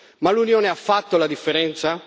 Ma l'Unione ha fatto la differenza?